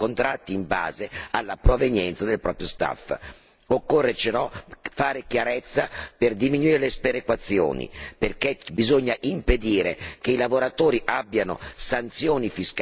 Occorre fare chiarezza per diminuire le sperequazioni, perché bisogna impedire che i lavoratori abbiano sanzioni fiscali o conseguenze pensionistiche negative.